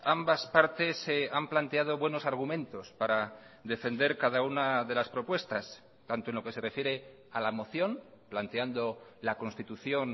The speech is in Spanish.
ambas partes han planteado buenos argumentos para defender cada una de las propuestas tanto en lo que se refiere a la moción planteando la constitución